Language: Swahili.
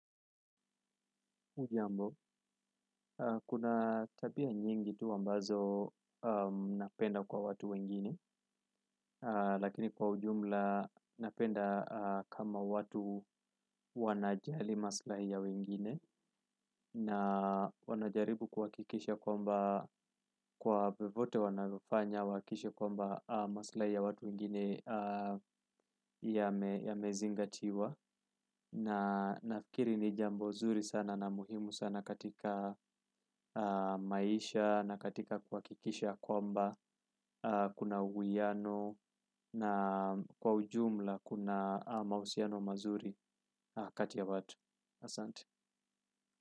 Hujambo, kuna tabia nyingi tu ambazo napenda kwa watu wengine, lakini kwa ujumla napenda kama watu wanajali maslahi ya wengine na wanajaribu kuhakikisha kwamba kwa vyovyote wanavyofanya huhakisha kwamba maslahi ya watu wengine yamezingatiwa. Na nafikiri ni jambo zuri sana na muhimu sana katika maisha na katika kuhakikisha kwamba kuna uhiyano na kwa ujumla ama mahusiano mazuri kati ya watu.